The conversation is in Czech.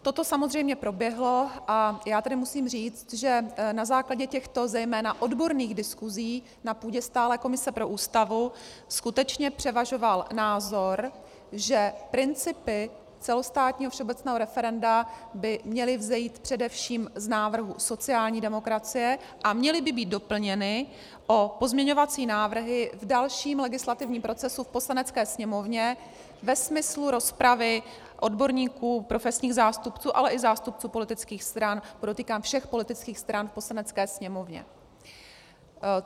Toto samozřejmě proběhlo, a já tedy musím říct, že na základě těchto, zejména odborných, diskusí na půdě stálé komise pro Ústavu skutečně převažoval názor, že principy celostátního všeobecného referenda by měly vzejít především z návrhu sociální demokracie a měly by být doplněny o pozměňovací návrhy v dalším legislativním procesu v Poslanecké sněmovně ve smyslu rozpravy odborníků, profesních zástupců, ale i zástupců politických stran, podotýkám všech politických stran v Poslanecké sněmovně.